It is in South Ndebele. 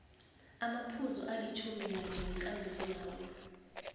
amaphuzu alitjhuminanye wekambisolawulo